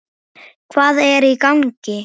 Hvað er í gangi?